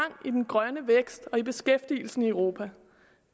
i den grønne vækst og i beskæftigelsen i europa